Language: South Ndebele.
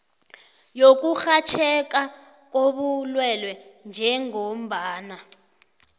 yokurhatjheka kobulwelwe njengombana